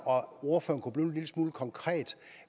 kommer